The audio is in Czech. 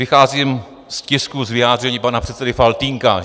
Vycházím z tisku z vyjádření pana předsedy Faltýnka.